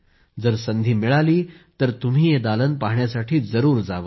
जर संधी मिळाली तर तुम्ही हे दालन पाहण्यासाठी जरूर जावे